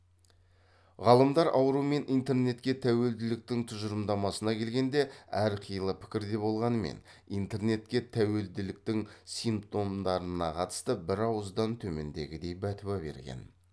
ғалымдар ауру мен интернетке тәуелділіктің тұжырымдамасына келгенде әрқилы пікірде болғанмен интернетке тәуелділіктің симптомдарына қатысты бір ауыздан төмендегідей бәтуа берген